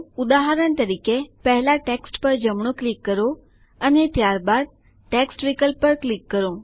ઉદાહરણ તરીકે પહેલા ટેક્સ્ટ પર જમણું ક્લિક કરો અને ત્યારબાદ મેનૂમાં ટેક્સ્ટ વિકલ્પ પર ક્લિક કરો